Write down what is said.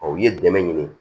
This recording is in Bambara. u ye dɛmɛ ɲini